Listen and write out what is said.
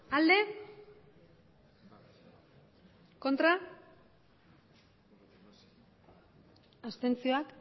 emandako botoak